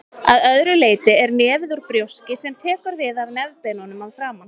Að öðru leyti er nefið úr brjóski sem tekur við af nefbeinunum að framan.